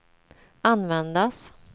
användas